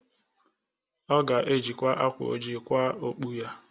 Ọ ga ejikwa akwa oji kwaa okpu ya.